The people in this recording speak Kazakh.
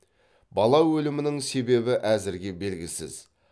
бала өлімінің себебі әзірге белгісіз